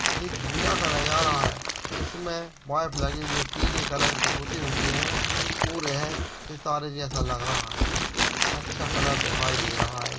एक झूला का नजारा है इसमें पाइप लगी हुई है पीले कलर की पुते हुए है पूल है सितारे जैसा लग रहा है अच्छा कलर दिखाई दे रहा है।